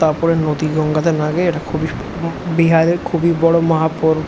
তারপরে নদী গঙ্গা তে না গিয়ে এটা খুবই ব বিহারের খুবই বড় মহা ব --